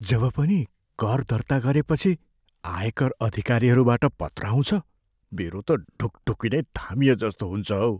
जब पनि कर दर्ता गरेपछि आयकर अधिकारीहरूबाट पत्र आउँछ, मेरो त ढुकढुकी नै थामिएजस्तो हुन्छ हौ।